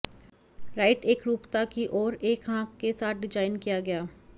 right एकरूपता की ओर एक आंख के साथ डिजाइन किया गया